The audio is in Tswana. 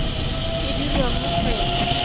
e dirwa mo go ena